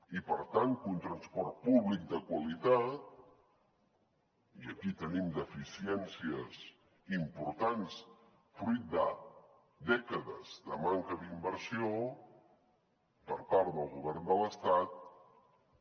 i per tant que un transport públic de qualitat i aquí en tenim deficiències importants fruit de dècades de manca d’inversió per part del govern de l’estat